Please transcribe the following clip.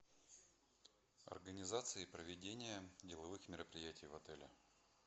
организация и проведение деловых мероприятий в отеле